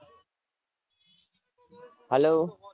hello